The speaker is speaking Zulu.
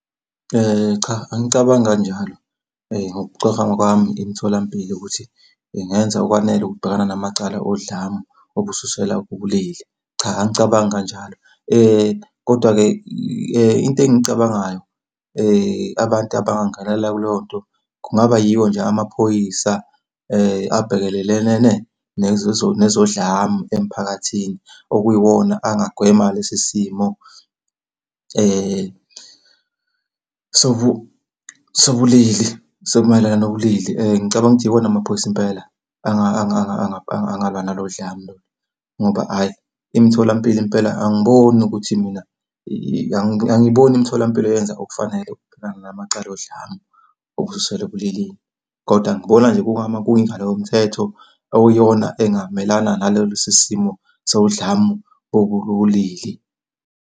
Cha, angicabangi kanjalo. Ngokucabanga kwami imitholampilo ukuthi ingenza okwanele ukubhekana namacala odlame olususelwa kubulili. Cha angicabangi kanjalo, kodwa-ke into engiyicabangayo abantu abangangenela kuleyo nto, kungaba yiwo nje amaphoyisa abhekelelene nezodlame emphakathini. Okuyiwona angagwema lesi simo sobulili semayelana nobulili. Ngicabanga ukuthi iwona amaphoyisa impela, angalwa nalo dlame lolu, ngoba ayi imitholampilo impela angiboni ukuthi mina . Angiboni imitholampilo yenza okufanele ngamacala odlame olususelwa ebulilini, kodwa ngibona nje kungama kuyingalo yomthetho okuyiyona engamelana nalesi simo sodlame olukubulili.